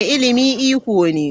Ilimi iko ne.